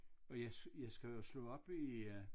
Og jeg jeg skal jo slå op i øh